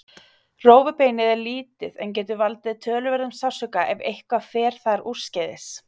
Rófubeinið er lítið en getur valdið töluverðum sársauka ef eitthvað fer þar úrskeiðis.